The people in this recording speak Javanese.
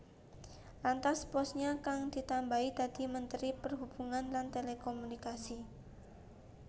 Lantas posnya kang ditambahi dadi Menteri Perhubungan lan Telekomunikasi